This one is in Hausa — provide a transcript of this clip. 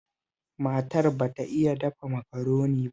Matar ba ta iya dafa Makaroni ba